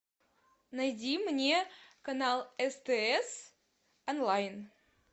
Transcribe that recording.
найди мне канал стс онлайн